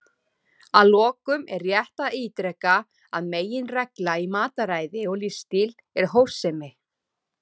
Að lokum er rétt að ítreka að meginreglan í mataræði og lífsstíl er hófsemi.